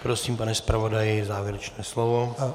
Prosím, pane zpravodaji, závěrečné slovo.